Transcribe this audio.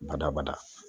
Badabada